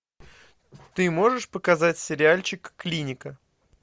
ты можешь показать сериальчик клиника